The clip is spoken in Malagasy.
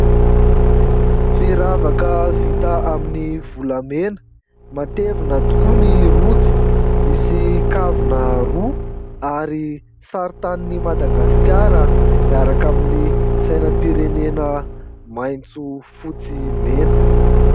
Firavaka vita amin'ny volamena. Matevina tokoa ny rojo, misy kavina roa ary sarintanin' i Madagasikara, miaraka amin'ny sainampirenena maintso fotsy mena.